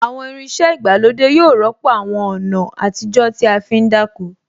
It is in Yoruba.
Àwọn irin iṣẹ́ ìgbàlódé yóò rọ́pò àwọn ọ̀nà àtijó tí a fí ń dáko